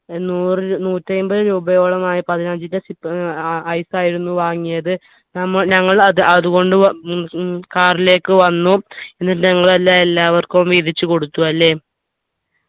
ഏർ നൂറ് നൂറ്റി അയിമ്പത് രൂപയോളം ആയി പതിനഞ്ചിന്റെ sip ഏർ ice ആയിരുന്നു വാങ്ങിയത് നമ്മൾ ഞങ്ങൾ അത് അതുകൊണ്ടു വന്ന് ഉം car ലേക്ക് വന്നു എന്നിട്ട് നിങ്ങൾ എല്ലാ എല്ലാവർക്കും വീതിച്ചു കൊടുത്തു അല്ലെ